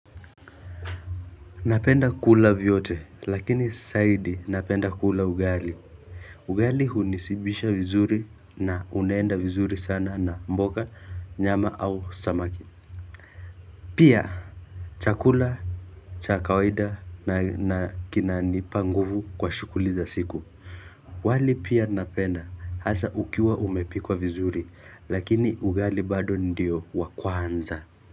Napenda kula vyote lakini zaidi napenda kula ugali ugali hunishibisha vizuri na unaenda vizuri sana na mboga nyama au samaki Pia chakula cha kawaida na kinanipa nguvu kwa shughuli za siku wali pia napenda hasa ukiwa umepikwa vizuri lakini ugali bado ndio wa kwanza.